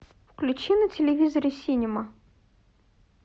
включи на телевизоре синема